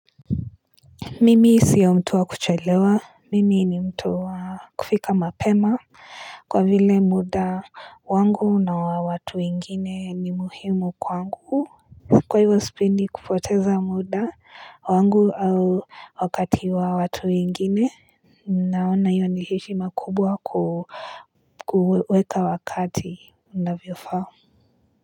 Mimi sio mtu wa kuchelewa, mimi ni mtu wa kufika mapema kwa vile muda wangu na wa watu wengine ni muhimu kwangu. Kwa hivyo sipedi kupoteza muda wangu au wakati wa watu wengine Naona hiyo ni heshima kubwa kuweka wakati unavyofaa.